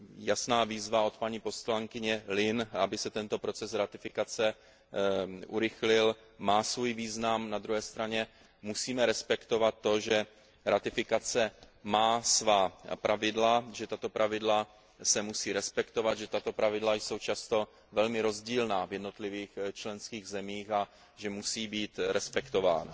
Jasná výzva od paní poslankyně Lynneové, aby se tento proces ratifikace urychlil, má svůj význam, na druhé straně musíme respektovat to, že ratifikace má svá pravidla, že tato pravidla se musí respektovat, že tato pravidla jsou často velmi rozdílná v jednotlivých členských zemích a že musí být respektována.